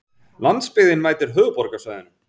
Landsbyggðin mætir höfuðborgarsvæðinu